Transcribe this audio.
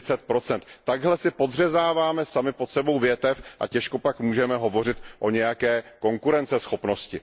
40 Takhle si podřezáváme sami pod sebou větev a těžko pak můžeme hovořit o nějaké konkurenceschopnosti.